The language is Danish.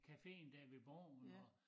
Caféen dér ved borgen og